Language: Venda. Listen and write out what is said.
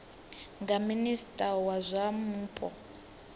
nga minista wa zwa mupo